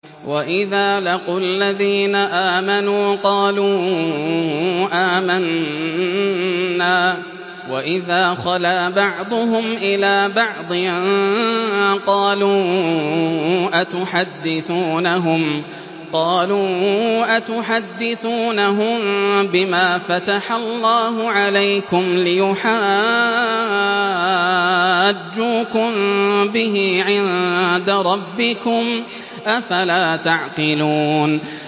وَإِذَا لَقُوا الَّذِينَ آمَنُوا قَالُوا آمَنَّا وَإِذَا خَلَا بَعْضُهُمْ إِلَىٰ بَعْضٍ قَالُوا أَتُحَدِّثُونَهُم بِمَا فَتَحَ اللَّهُ عَلَيْكُمْ لِيُحَاجُّوكُم بِهِ عِندَ رَبِّكُمْ ۚ أَفَلَا تَعْقِلُونَ